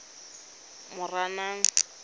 moranang